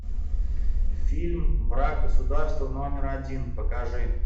фильм враг государства номер один покажи